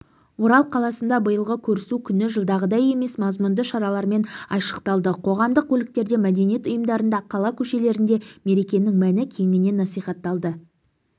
орал қаласында биылғы көрісу күні жылдағыдай емес мазмұнды шаралармен айшықталды қоғамдық көліктерде мәдениет ұйымдарында қала көшелерінде мерекенің мәні кеңінен насихатталды